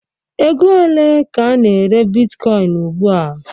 Ego ole ka a na-ere bitkọin ugba?